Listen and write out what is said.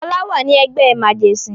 Fọlá wà ní ẹgbẹ́ màjẹ̀sín.